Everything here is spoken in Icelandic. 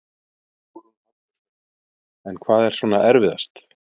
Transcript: Hugrún Halldórsdóttir: En hvað er svona erfiðast?